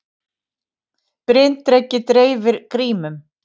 Bryndreki dreifir grímum